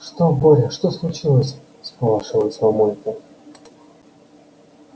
что боря что случилось всполошилась мамулька